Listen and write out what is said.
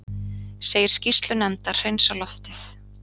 Segir skýrslu nefndar hreinsa loftið